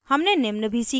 हमने निम्न भी सीखा